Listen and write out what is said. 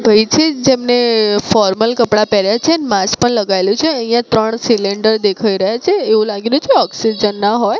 જેમને ફોર્મલ કપડા પહેર્યા છે માસ્ક પણ લગાઇલુ છે અહિયા ત્રણ સિલિન્ડર દેખાય રહ્યા છે એવુ લાગીને જે ઑક્સિજન ના હોય.